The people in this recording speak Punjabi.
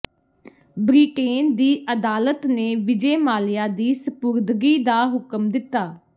ਬ੍ਰਿਟੇਨ ਦੀ ਅਦਾਲਤ ਨੇ ਵਿਜੇ ਮਾਲਿਆ ਦੀ ਸਪੁਰਦਗੀ ਦਾ ਹੁਕਮ ਦਿਤਾ